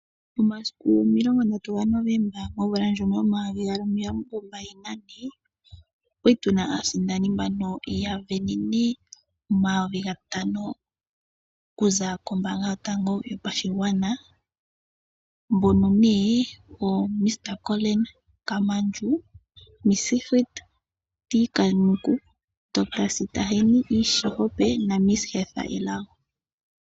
Momasiku 30 ga Novomba 2024 okwali tuna aasindani mbono ya sindanene oma 5000 okuza kombanga yotango yopashigwana mbono ne Mr Collin Kamaundju, Ms Sigrid T Khanuku, Dr Sitahani E Sihope na Ms Hertha Elago.